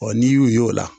n'i y'u y'o la